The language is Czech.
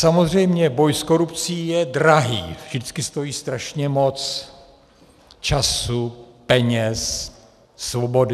Samozřejmě boj s korupcí je drahý, vždycky stojí strašně moc - času, peněz, svobody.